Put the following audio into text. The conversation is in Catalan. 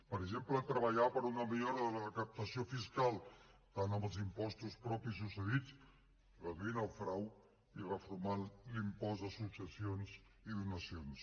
per exemple treballar per una millora de la recaptació fiscal tant amb els impostos propis com cedits reduint el frau i reformant l’impost de successions i donacions